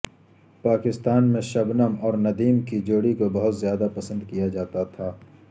پاکستان میں شبنم اور ندیم کی جوڑی کو بہت زیادہ پسند کیا جاتا تھا